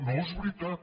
no és veritat